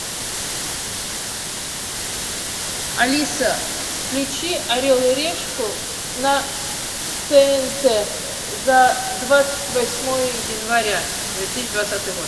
алиса включи орел и решку на тнт за двадцать восьмое января две тысячи двадцатый год